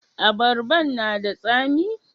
Abarban na da tsami?